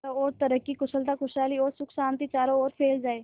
चारों और तरक्की कुशलता खुशहाली और सुख शांति चारों ओर फैल जाए